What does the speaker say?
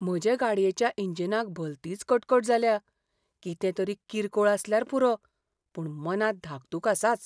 म्हजे गाडयेच्या इंजिनाक भलतीच कटकट जाल्या. कितें तरी किरकोळ आसल्यार पुरो, पूण मनांत धाकधूक आसाच .